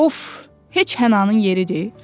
Of, heç Hənanın yeridir?